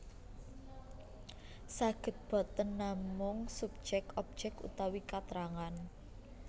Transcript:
Saged boten namung subjek objek utawi katrangan